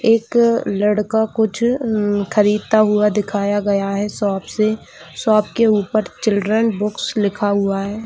'' एक लड़का कुछ उन ख़रीदता हुआ दिखाया गया है शॉप से शॉप के ऊपर चिल्ड्रेन्स बुक्स लिखा हुआ है। ''